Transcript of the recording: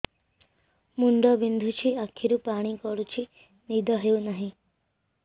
ମୁଣ୍ଡ ବିନ୍ଧୁଛି ଆଖିରୁ ପାଣି ଗଡୁଛି ନିଦ ହେଉନାହିଁ